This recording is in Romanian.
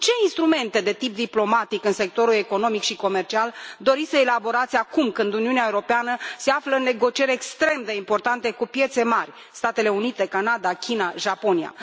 Ce instrumente de tip diplomatic în sectorul economic și comercial doriți să elaborați acum, când Uniunea Europeană se află în negocieri extrem de importante cu piețe mari Statele Unite, Canada, China, Japonia?